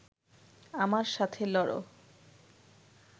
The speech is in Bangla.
আমার সাথে লড়